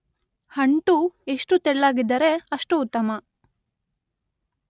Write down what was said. ಅಂಟು ಎಷ್ಟು ತೆಳ್ಳಗಿದ್ದರೆ ಅಷ್ಟು ಉತ್ತಮ.